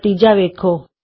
ਨਤੀਜਾ ਵੇਖੋ